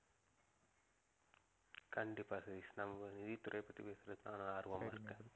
கண்டிப்பா சதீஷ் நம்ம ஒரு நிதித்துறையை பத்தி பேசறது தான் ஆர்வமா இருக்கேன்